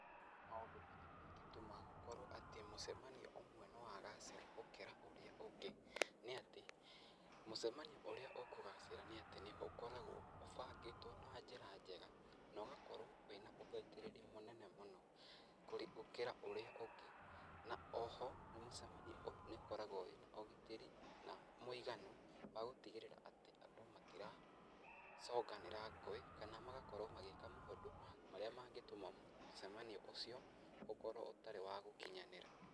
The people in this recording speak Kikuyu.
Maũndũ marĩa mangĩtũma atĩ mũcamanio ũmwe nĩ wagacĩra gũkĩra ũrĩa ũngĩ, nĩ atĩ mũcamanio ũrĩa ũkũgacĩra nĩ atĩ ũkoragwo ũbangĩtwo na njĩra njega, na ũgakorwo wĩna ũthaitĩrĩri mũnene mũno kũrĩ, gũkĩra ũrĩa ũngĩ. Na oho nĩ mũcamanio ũkoragwo wĩna ũgitĩri na mũiganu wa gũtigĩrĩra atĩ andũ matiracũnganĩra ngũĩ, kana magakorwo magĩĩka maũnðũ marĩa mangĩtũma mũcamanio ũcio ũkorwo ũtarĩ wa gũkinyanĩra.